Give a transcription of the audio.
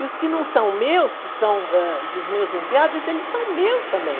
E os que não são meus, que são, ãh, dos meus enteados, eles são meus também.